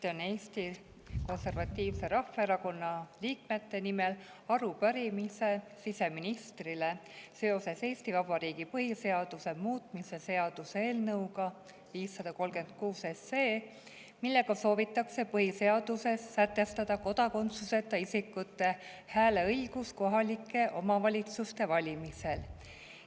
Esitan Eesti Konservatiivse Rahvaerakonna liikmete nimel arupärimise siseministrile seoses Eesti Vabariigi põhiseaduse muutmise seaduse eelnõuga 536, mille kohaselt soovitakse põhiseaduses sätestada kodakondsuseta isikute hääleõigus kohalike omavalitsuste valimisel.